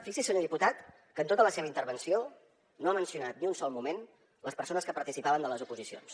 fixi’s senyor diputat que en tota la seva intervenció no ha mencionat ni un sol moment les persones que participaven en les oposicions